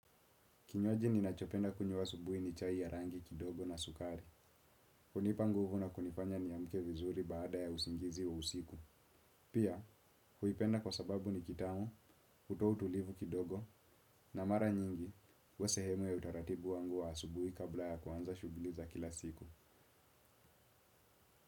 Kinywaji ninachopenda kunywa asubuhi ni chai ya rangi kidogo na sukari. Hunipa nguvu na kunifanya niamke vizuri baada ya usingizi wa usiku. Pia, huipenda kwa sababu ni kitamu, hutoa tulivu kidogo, na mara nyingi, huwasehemu ya utaratibu wangu wa asubuhi kabla ya kuanza shughuli za kila siku.